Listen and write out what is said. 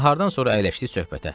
Nahardan sonra əyləşdik söhbətə.